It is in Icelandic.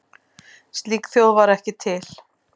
Slík þjóð var ekki til.